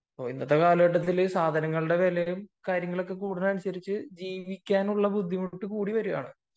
ഇന്നത്തെ കാലത്തു സാധനങ്ങളുടെ വിലയും കാര്യങ്ങളും കൂടുന്നതിനനുസരിച്ചു ജീവിക്കുന്നതിനുള്ള ബുദ്ധിമുട്ടും കൂടിവരികയാണ്